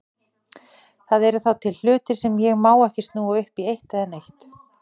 Það eru þá til hlutir sem ég má ekki snúa upp í eitt eða neitt.